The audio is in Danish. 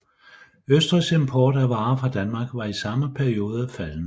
Østrigs import af varer fra Danmark var i samme periode faldende